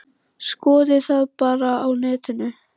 Skoðið það bara á netinu.